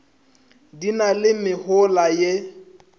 di na le mehola ye